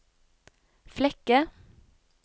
Flekke